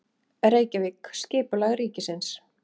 Reykjavík: Skipulag ríkisins.